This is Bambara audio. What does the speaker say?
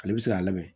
Ale bɛ se k'a lamɛn